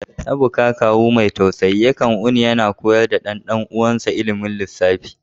Ebuka, kawu mai tausayi, yakan wuni yana koyar da dan uwansa ilmin lissafi.